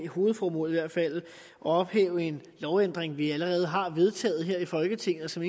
hovedformålet er at ophæve en lovændring vi allerede har vedtaget her i folketinget og som